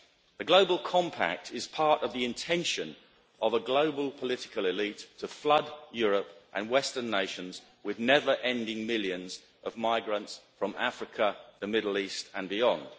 The global compact is part of the intention of a global political elite to flood Europe and Western nations with never-ending millions of migrants from Africa, the Middle East and beyond.